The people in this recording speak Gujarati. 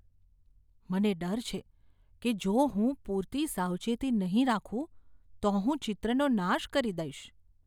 મને ડર છે કે જો હું પૂરતી સાવચેતી નહીં રાખું તો હું ચિત્રનો નાશ કરી દઈશ.